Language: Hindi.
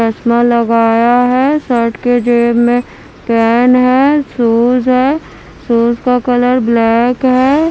चस्मा लगाया है शर्ट के जेब में पेन है शूज है शूज का कलर ब्लैक है।